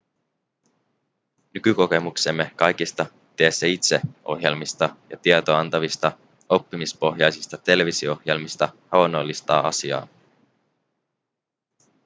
nykykokemuksemme kaikista tee-se-itse-ohjelmista ja tietoa antavista oppimispohjaisista televisio-ohjelmista havainnollistaa asiaa